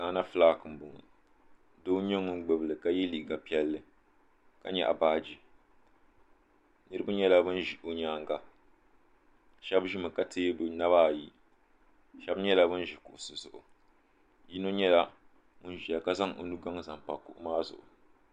gaana fulak so n nyɛ ŋun gbubili ka yɛ liiga piɛlli ka nyaɣa baaji niraba nyɛla bin ʒi bi nyaanga shab ʒimi ka tiɛ bi naba ayi shab nyɛla bin ʒi kuɣusi zuɣu yino nyɛla ŋun ʒiya ka zaŋ o nugaŋ zaɣ pa kuɣu maa zuɣu